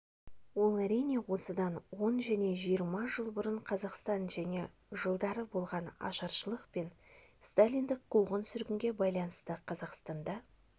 ол әрине осыдан он және жиырма жыл бұрын қазақстан және жылдары болған ашаршылық пен сталиндік қуғын-сүргінге байланысты қазақстанда